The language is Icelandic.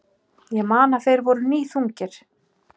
Ég man að þeir voru níðþungir.